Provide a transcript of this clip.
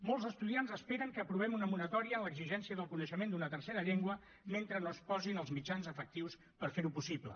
molts estudiants esperen que aprovem una moratòria en l’exigència del coneixement d’una tercera llengua mentre no es posin els mitjans efectius per fer ho possible